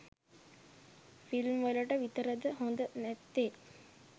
Film වලට විතරද හොඳ නැත්තේ?